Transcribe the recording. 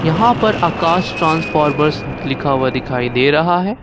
यहां पर आकाश ट्रांसफॉमर्स लिखा हुआ दिखाई दे रहा है।